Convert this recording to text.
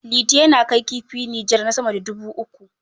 Liti yana kai kifi Nijar na sama da dubu uku.